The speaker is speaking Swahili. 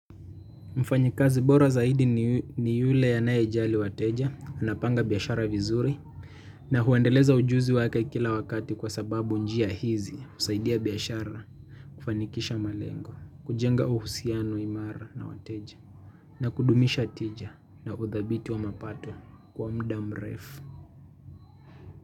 Mfanyikazi bora zaidi ni yule anayejali wateja, anapanga biashara vizuri, na huendeleza ujuzi wake kila wakati kwa sababu njia hizi husaidia biashara kufanikisha malengo, kujenga uhusiano imara na wateja, na kudumisha tija na udhabiti wa mapato kwa muda mrefu.